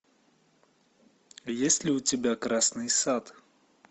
есть ли у тебя красный сад